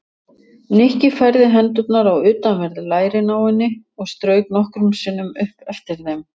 Nikki færði hendurnar á utanverð lærin á henni og strauk nokkrum sinnum upp eftir þeim.